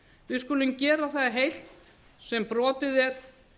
við skulum gera það heilt sem brotið er